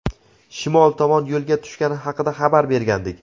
shimol tomon yo‘lga tushgani haqida xabar bergandik.